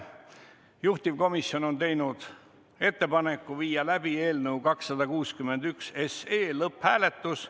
Juhtivkomisjon on teinud ettepaneku viia läbi eelnõu 261 lõpphääletus.